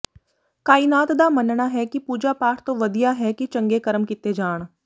ਕਾਇਨਾਤ ਦਾ ਮੰਨਣਾ ਹੈ ਕਿ ਪੂਜਾ ਪਾਠ ਤੋਂ ਵਧੀਆ ਹੈ ਕਿ ਚੰਗੇ ਕਰਮ ਕੀਤੇ ਜਾਣ